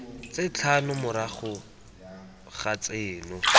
tse tlhano morago ga tseno